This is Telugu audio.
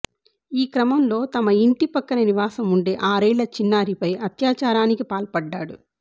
ఈ క్రమంలో తమ ఇంటి పక్కన నివాసం ఉండే ఆరేళ్ల చిన్నారిపై అత్యాచారానికి పాల్పడ్డాడు